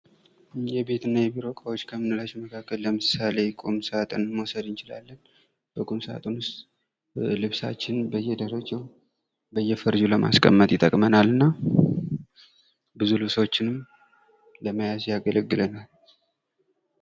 የቤት እና የቢሮ እቃዎች ከምንላቸው መካከል ለምሳሌ ቁምሳጥንን መውሰድ እንችላለን በቁም ሳጥን ዉስጥ ልብሳችንን በየደረጃው በየፈርጃው ልውማስቀመጥ ይጠቅመናል እና ብዙ ልብሶችንም ለመያዝ ያገለግለናል::